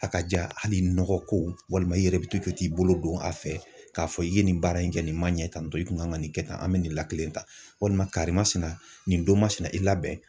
A ka ja hali nɔgɔ ko walima i yɛrɛ bi to k'i bolo don a fɛ k'a fɔ i ye nin baara in kɛ nin ma ɲɛ tantɔ i kun kan ka nin kɛ tan an bɛ nin la kelen ta walima karimasina nin don masina i labɛn.